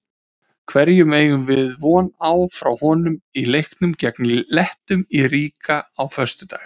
Hverju eigum við von á frá honum í leiknum gegn Lettum í Riga á föstudag?